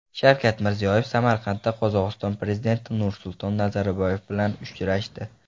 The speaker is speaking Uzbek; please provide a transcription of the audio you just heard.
Shavkat Mirziyoyev Samarqandda Qozog‘iston prezidenti Nursulton Nazarboyev bilan uchrashdi.